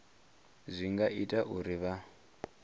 zwi nga ita uri vha